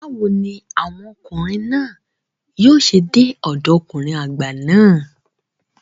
Báwo ni àwọn ọkùnrin náà yóò ṣe dé ọ̀dọ ọkùnrin àgbà náà?